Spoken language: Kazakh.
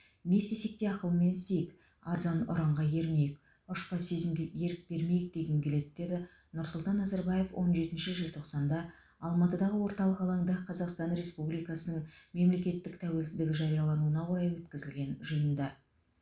не істесек те ақылмен істейік арзан ұранға ермейік ұшпа сезімге ерік бермейік дегім келеді деді нұрсұлтан назарбаев он жетінші желтоқсанда алматыдағы орталық алаңда қазақстан республикасының мемлекеттік тәуелсіздігі жариялануына орай өткізілген жиында